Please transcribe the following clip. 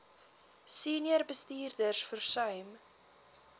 senior bestuurders versuim